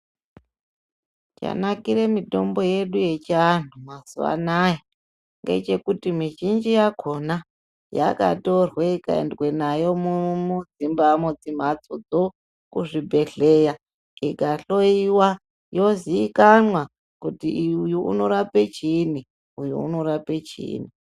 Chanakire mitombo yedu yechiantu mazuva anaya ngechekuti mizhinji yakona yakatorwe ikaendwe nayo muzvimhatsodzo kuzvibhedhleya. Dzikahloiwa yozikanwa kuti uyu unorape chiini uyu unorape chiini.